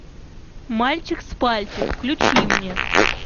мальчик с пальчик включи мне